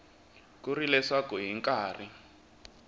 ku ri leswaku hi nkarhi